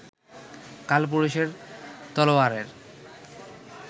কালপুরুষের তলোয়ারের